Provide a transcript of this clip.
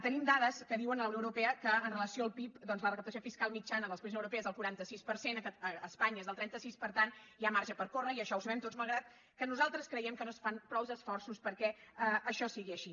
tenim dades que diuen que a la unió europea amb relació al pib doncs la recaptació fiscal mitjana dels països europeus és del quaranta sis per cent a espanya és del trenta sis per tant hi ha marge per córrer i això ho sabem tots malgrat que nosaltres creiem que no es fan prou esforços perquè això sigui així